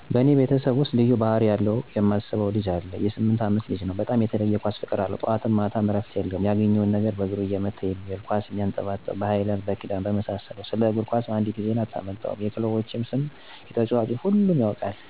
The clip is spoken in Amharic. በእኔ ቤተሰብ ውስጥ ልዩ ባህሪ አለው ብየ ማስበው ልጄ ነው.የ 8አመት ልጅ ነው, በጣም የተለየ የ ኳስ ፍቅር አለው. ጠዋት ማታም ምንም እረፍት የለውም ያገኘውን ነገር በእግሩ ሲመታ ነዉ የሚዉል. ኳስ ቢያጣ በ ሀይላንድ (በክዳኑ)ካልሆነም በአቩካዶ ፍሬ ይጫወታል። ስለ ኳስ አንዲትም ዜና አታመልጠውም .የ ክለቦች ስም፣ የተጨዋቾች ስም ሁሉንም ያውቃቸዋል። የ ሰፈር ልጆች CR7 ይሉታል የ ክርስቲያን ሮላንዶ አድናቂ ስለሆነ።